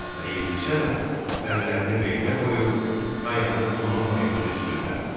Bəyimnisə də əllərini belinə qoyub dayanıb onun başının üstündə.